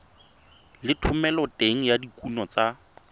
le thomeloteng ya dikuno tsa